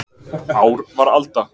Ár var alda.